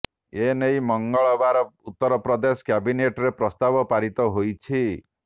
ଏ ନେଇ ମଙ୍ଗଳବାର ଉତ୍ତର ପ୍ରଦେଶ କ୍ୟାବିନେଟରେ ପ୍ରସ୍ତାବ ପାରିତ ହୋଇଛି